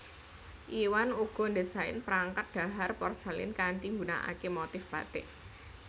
Iwan uga ndésain perangkat dhahar porselen kanthi nggunaaké motif batik